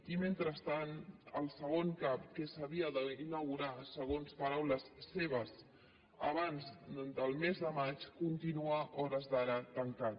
i mentrestant el segon cap que s’havia d’inaugurar segons paraules seves abans del mes de maig continua a hores d’ara tancat